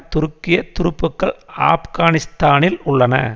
துருக்கிய துருப்புகள் ஆப்கானிஸ்தானில் உள்ளன